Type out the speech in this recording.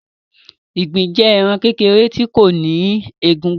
Ìgbín jẹ ẹran kékèrè tí kò ní egúngún.